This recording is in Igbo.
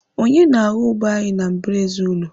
Onye na-aghọ ube anyị na mbaraezi ụlọ?